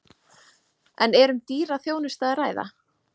En er um dýra þjónustu að ræða?